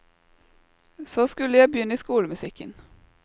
Så skulle jeg begynne i skolemusikken.